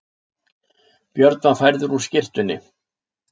Björn var færður úr skyrtunni.